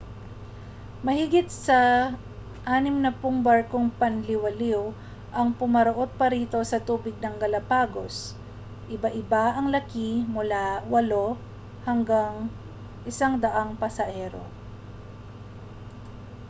mahigit sa 60 barkong panliwaliw ang pumaparoo't-parito sa tubig ng galapagos iba-iba ang laki mula 8 hanggang 100 pasahero